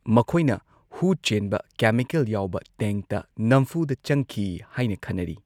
ꯃꯈꯣꯏꯅ ꯍꯨ ꯆꯦꯟꯕ ꯀꯦꯃꯤꯀꯦꯜ ꯌꯥꯎꯕ ꯇꯦꯡꯛꯇ ꯅꯝꯐꯨꯗ ꯆꯪꯈꯤ ꯍꯥꯏꯅ ꯈꯟꯅꯔꯤ꯫